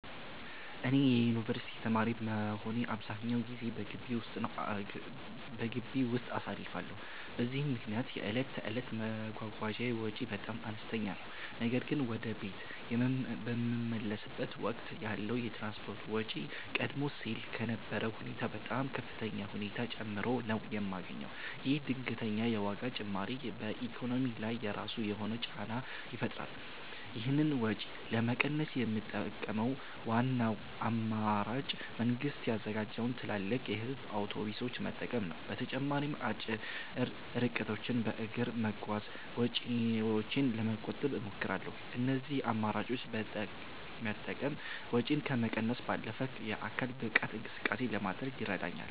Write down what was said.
እኔ የዩኒቨርሲቲ ተማሪ በመሆኔ አብዛኛውን ጊዜዬን በግቢ ውስጥ አሳልፋለሁ፤ በዚህም ምክንያት የዕለት ተዕለት የመጓጓዣ ወጪዬ በጣም አነስተኛ ነው። ነገር ግን ወደ ቤት በምመለስበት ወቅት ያለው የትራንስፖርት ወጪ ቀደም ሲል ከነበረው ሁኔታ በጣም በከፍተኛ ሁኔታ ጨምሮ ነው የማገኘው። ይህ ድንገተኛ የዋጋ ጭማሪ በኢኮኖሚዬ ላይ የራሱ የሆነ ጫና ይፈጥራል። ይህንን ወጪ ለመቀነስ የምጠቀመው ዋናው አማራጭ መንግስት ያዘጋጃቸውን ትላልቅ የህዝብ አውቶቡሶች መጠቀም ነው። በተጨማሪም አጭር ርቀቶችን በእግር በመጓዝ ወጪዬን ለመቆጠብ እሞክራለሁ። እነዚህን አማራጮች መጠቀም ወጪን ከመቀነስ ባለፈ የአካል ብቃት እንቅስቃሴ ለማድረግም ይረዳኛል።